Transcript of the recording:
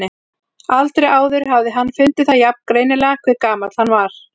Aldrei áður hafði hann fundið það jafn greinilega hve gamall hann var.